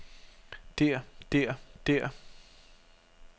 der der der